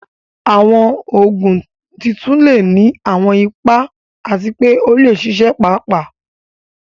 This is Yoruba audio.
Àwọn Ògùn tuntun lè ní àwọn ipa àti pé ó lè ṣiṣẹ́ pàápàá